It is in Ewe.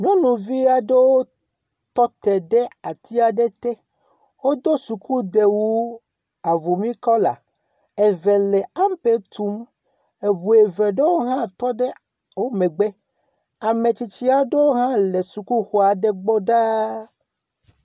Nyɔnuvi aɖewo tɔ te ɖe ati aɖe te. Wodo sukudewu avumi kɔla. Eve le ampe tum. Ŋu eve aɖewo hã tɔ ɖe wo megbe. Ame tsitsi aɖewo hã le sukuxɔ aɖe gbɔ ɖaa.